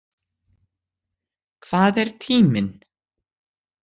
Hvað er tíminn?